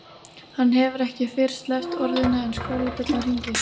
Hann hefur ekki fyrr sleppt orðinu en skólabjallan hringir.